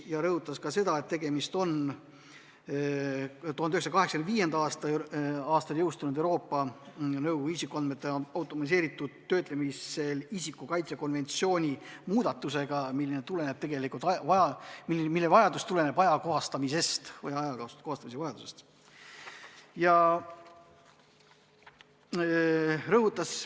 Ta rõhutas ka seda, et tegemist on 1985. aastal jõustunud Euroopa Nõukogu isikuandmete automatiseeritud töötlemisel isiku kaitse konventsiooni muutmisega, mis tuleneb vajadusest seda ajakohastada.